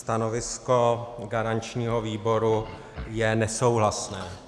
Stanovisko garančního výboru je nesouhlasné.